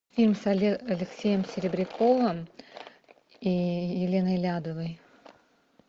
фильм с алексеем серебряковым и еленой лядовой